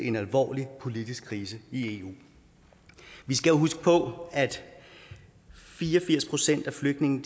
en alvorlig politisk krise i eu vi skal jo huske på at fire og firs procent af flygtningene